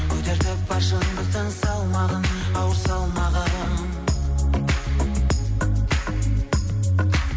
көтертіп бар шындықтың салмағын ауыр салмағын